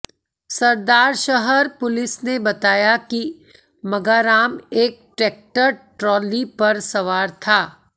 Sardarshahar police ने बताया कि मगाराम एक ट्रैक्टर ट्रॉली पर सवार था